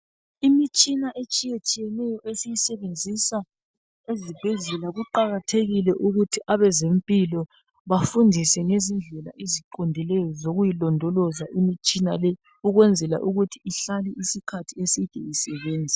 Imitshina etshiyetshiyeneyo esiyisebenzisa ezibhedlela kuqakathekile ukuthi abazempilo bafundise ngendlela eziqondileyo zokuyilondoloza imitshina leyi, ukwenzela ukuthi ihlale isikhathi eside isebenza.